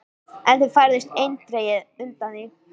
En þau færðust eindregið undan því.